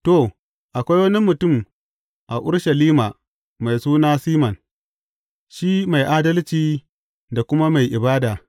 To, akwai wani mutum a Urushalima mai suna Siman, shi mai adalci da kuma mai ibada.